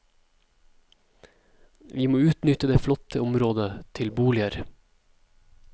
Vi må utnytte det flotte området til boliger.